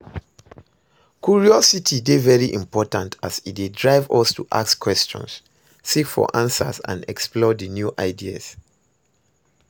curiosity dey very important as e dey drive us to ask questions, seek for answers and explore di new ideas.